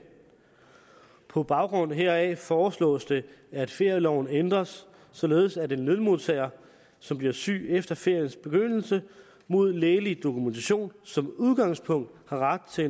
på baggrund heraf foreslås det at ferieloven ændres således at en lønmodtager som bliver syg efter feriens begyndelse mod lægelig dokumentation som udgangspunkt har ret til